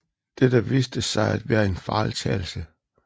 Dette viste sig at være en fejltagelse